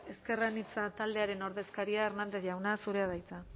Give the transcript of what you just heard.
ezker anitza taldearen ordezkaria hernández jauna zurea da hitza